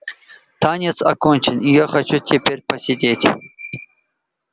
танец окончен и я хочу теперь посидеть